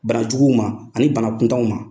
Bana juguw ma, ani bana kuntanw ma